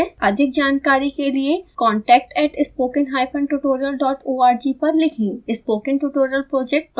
अधिक जानकारी के लिए contact at spokentutorialorg पर लिखें